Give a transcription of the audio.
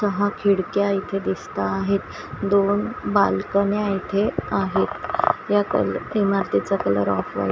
सहा खिडक्या इथे दिसता आहेत दोन बालकन्या इथे आहेत या कलर इमारतीचा कलर ऑफ व्हाईट --